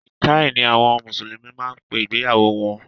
Nìkáì ni àwọn mùsùlùmí máa ń pe ìgbéyàwó wọn